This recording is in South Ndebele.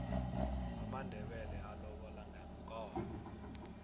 amandebele alobola ngeenkomo